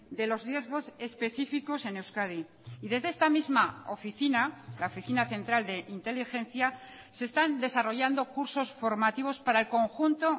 de los riesgos específicos en euskadi y desde esta misma oficina la oficina central de inteligencia se están desarrollando cursos formativos para el conjunto